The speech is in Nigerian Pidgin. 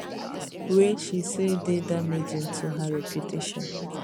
wey she say dey damaging to her reputation